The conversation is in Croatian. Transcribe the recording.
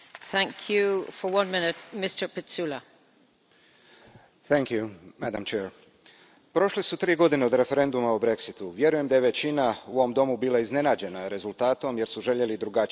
Poštovana predsjedavajuća, prošle su tri godine od referenduma o Brexitu. Vjerujem da je većina u ovom Domu bila iznenađena rezultatom jer su željeli drugačiji rezultat.